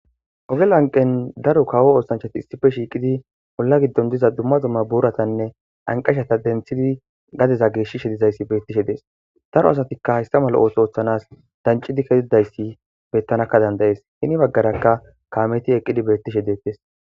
Ogelo anqen daro kawo oosanchati issife shiiqidi bolla giddon diza dumma zomma booratanne anqashata denthidi gadeza geeshishe dizayssi beettishe dees daro asatikka hayssa mala ootho ooththanas dancidi kezidayssi bettanakka dandayees hini baggarakka kaameti eqqidi beettishe deettes.